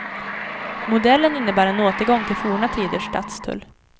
Modellen innebär en återgång till forna tiders stadstull.